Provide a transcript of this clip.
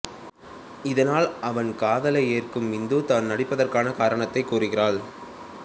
இதனால் அவன் காதலை ஏற்கும் இந்து தான் நடிப்பதற்கானக் காரணத்தைக் கூறுகிறாள்